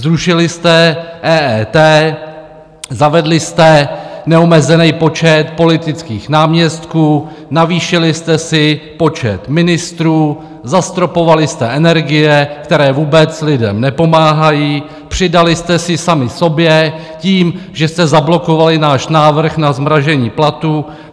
Zrušili jste EET, zavedli jste neomezený počet politických náměstků, navýšili jste si počet ministrů, zastropovali jste energie, které vůbec lidem nepomáhají, přidali jste si sami sobě tím, že jste zablokovali náš návrh na zmrazení platů.